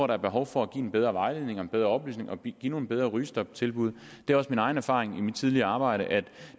der er behov for at give en bedre vejledning og en bedre oplysning og give nogle bedre rygestoptilbud det er også min egen erfaring fra mit tidligere arbejde at